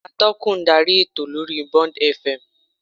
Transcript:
Atọ́kùn ń darí ètò lórí Bond F. M